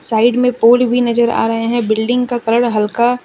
side में pole भी नजर आ रहे हैं बिल्डिंग का कलर हल्का--